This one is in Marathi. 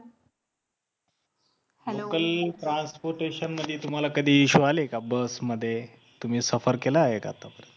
hello local transportation मध्ये तुम्हाला कधी issue आले का बस मध्ये तुम्ही सफर केला आहे का आतापर्यंत